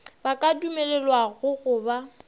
ba ka dumelelwago go ba